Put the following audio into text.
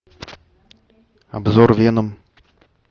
обзор веном